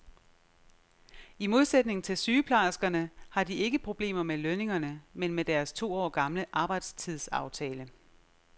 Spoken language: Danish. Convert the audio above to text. I modsætning til sygeplejerskerne har de ikke problemer med lønningerne, men med deres to år gamle arbejdstidsaftale.